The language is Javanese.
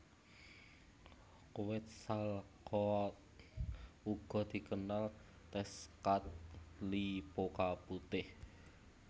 Quetzalcoatl uga dikenal Tezcatlipoca Putih